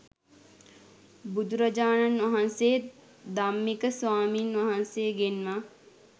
බුදුරජාණන් වහන්සේ ධම්මික ස්වාමින් වහන්සේ ගෙන්වා